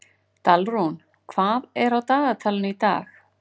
Dalrún, hvað er á dagatalinu í dag?